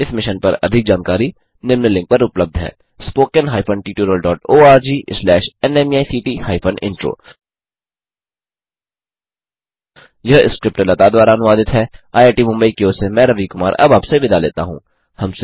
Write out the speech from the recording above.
इस मिशन पर अधिक जानकारी निम्न लिंक पर उपलब्ध है httpspoken tutorialorgNMEICT Intro यह स्क्रिप्ट लता द्वारा अनुवादित है आईआईटी मुंबई की ओर से मैं रवि कुमार अब आपसे विदा लेता हूँ